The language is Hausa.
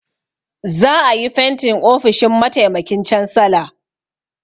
Za a yi fentin ofishin mataimakin cansala.